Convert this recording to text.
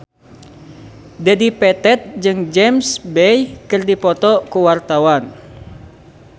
Dedi Petet jeung James Bay keur dipoto ku wartawan